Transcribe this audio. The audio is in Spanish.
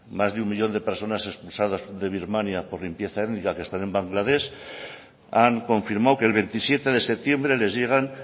más de uno millón de personas expulsadas de birmania por limpieza étnica que están en bangladesh han confirmado que el veintisiete de septiembre les llegan